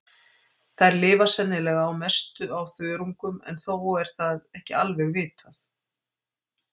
Þær lifa sennilega að mestu á þörungum en þó er það ekki alveg vitað.